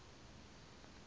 ephantsi aze abe